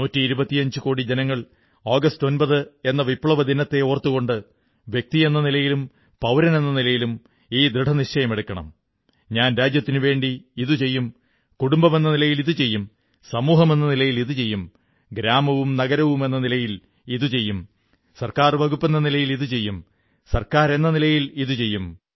നൂറ്റിയിരുപത്തിയഞ്ചു കോടി ജനങ്ങൾ ആഗസ്റ്റ് 9 എന്ന വിപ്ലവദിനത്തെ ഓർത്തുകൊണ്ട് വ്യക്തിയെ നിലയിലും പൌരനെന്ന നിലയിലും ഈ ദൃഢനിശ്ചയമെടുക്കണം ഞാൻ രാജ്യത്തിനുവേണ്ടി ഇതു ചെയ്യും കുടുംബമെന്ന നിലയിൽ ഇതു ചെയ്യും സമൂഹമെന്ന നിലയിൽ ഇതു ചെയ്യും ഗ്രാമവും നഗരവുമെന്ന നിലയിൽ ഇതു ചെയ്യും സർക്കാർ വകുപ്പെന്ന നിലയിൽ ഇതു ചെയ്യും സർക്കാരെന്ന നിലയിൽ ഇതു ചെയ്യും